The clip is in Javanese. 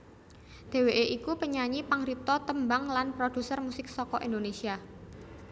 Dhèwèké iku penyanyi pangripta tembang lan prodhuser musik saka Indonésia